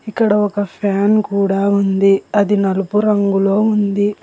ఇక్కడ ఒక ఫ్యాన్ కూడా ఉంది అది నలుపు రంగులో ఉంది.